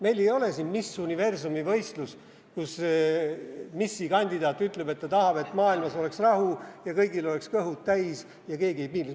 Meil ei ole siin Miss Universumi võistlus, kus missikandidaat ütleb, et ta tahab, et maailmas oleks rahu ja kõigil oleks kõhud täis ja keegi ei piinleks.